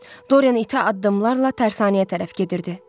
Dorian itə adımlarla tərsanəyə tərəf gedirdi.